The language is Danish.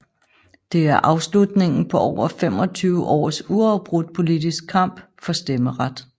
Det er afslutningen på over 25 års uafbrudt politisk kamp for stemmeret